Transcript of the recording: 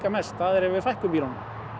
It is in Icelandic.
mest það er ef við fækkum bílunum